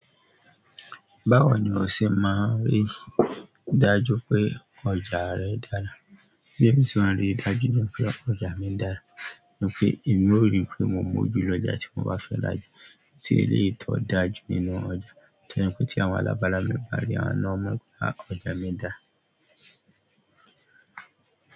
Báwo ni o ṣe máa ń rí i dájú pé ọjà rẹ dára? Bí èmi ṣe máa ń rí i dájú pé ọjà mi dára ni pé èmi o ríi pé mo mọ́ ju lọjà tí mo bá fẹ́ raja, ti eleyi to dájú nínú ọjà. Tojẹ pe ti àwọn alabara mi ba ri, àwọn náà o mọ pe ọjà mi da.